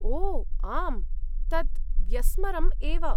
ओ आम्, तत् व्यस्मरम् एव।